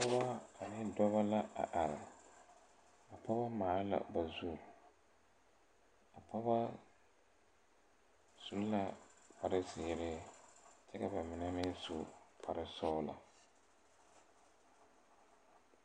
Pɔɔbɔ ane dɔbɔ la a are a pɔgebɔ maale la ba zu a pɔgebɔ su la kparezeere kyɛ ka ba mine meŋ su kparesɔglɔ.